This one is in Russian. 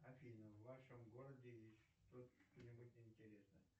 афина в вашем городе есть что нибудь интересное